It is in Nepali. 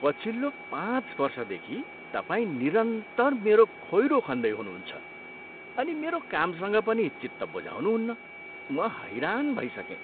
पछिल्लो पाँच वर्षदेखि तपाईँ निरन्तर मेरो खोइरो खन्दै हुनुहुन्छ अनि मेरो कामसँग पनि चित्त बुझाउनुहुन्न। म हैरान भइसकेँ।